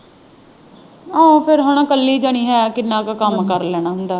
ਆਹੋ ਫੇਰ ਹਣਾ ਇੱਕਲੀ ਜਾਣੀ ਹੈ ਕਿੰਨਾ ਕੁ ਕੰਮ ਕਰ ਲੈਣਾ ਹੁੰਦਾ।